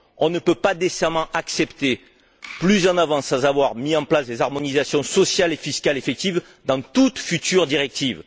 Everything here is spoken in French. On ne peut pas décemment accepter davantage sans avoir mis en place des harmonisations sociales et fiscales effectives dans toute future directive.